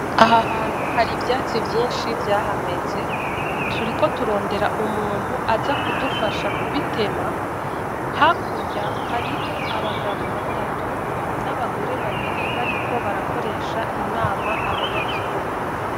Aha hantu hari ivyatsi vyinshi vyahameze turiko turondera umuntu aza kudufasha ku bitema hakurya hariho abagabo batatu n'abagore babiri bariko barakoresha inama abanyagihugu.